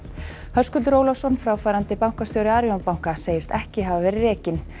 Höskuldur Ólafsson fráfarandi bankastjóri Arion banka segist ekki hafa verið rekinn